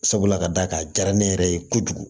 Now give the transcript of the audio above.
Sabula ka d'a kan a diyara ne yɛrɛ ye kojugu